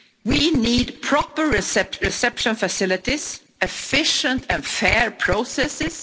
We need proper reception facilities, efficient and fair processes.